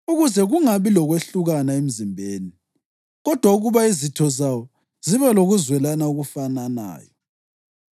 ukuze kungabi lokwehlukana emzimbeni, kodwa ukuba izitho zawo zibe lokuzwelana okufananayo.